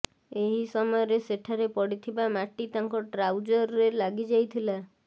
ଏହି ସମୟରେ ସେଠାରେ ପଡ଼ିଥିବା ମାଟି ତାଙ୍କ ଟ୍ରାଉଜର୍ରେ ଲାଗି ଯାଇଥିଲା